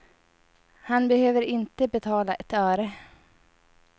Han behöver inte betala ett öre.